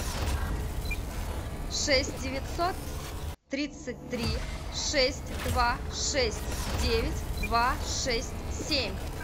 шесть девятьсот тридцать три шесть два шесть девять два шесть семь